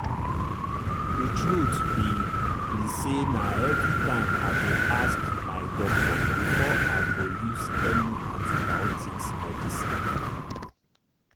the truth be be sayna everytime i dey ask my doctor before i go use any antibiotics medicine